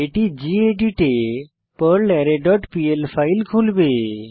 এটি গেদিত এ পারলারে ডট পিএল ফাইল খুলবে